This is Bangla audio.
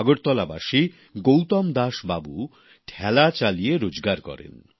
আগরতলাবাসী গৌতম দাসবাবু ঠেলা চালিয়ে রোজগার করেন